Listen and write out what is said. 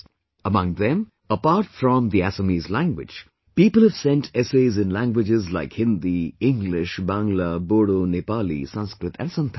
Among them, apart from the Assamese language, people have sent essays in languages like Hindi, English, Bangla, Bodo, Nepali, Sanskrit, and Santhali